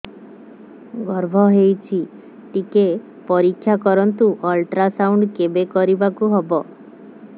ଗର୍ଭ ହେଇଚି ଟିକେ ପରିକ୍ଷା କରନ୍ତୁ ଅଲଟ୍ରାସାଉଣ୍ଡ କେବେ କରିବାକୁ ହବ